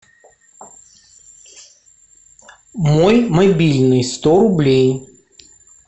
мой мобильный сто рублей